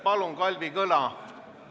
Palun, Kalvi Kõla!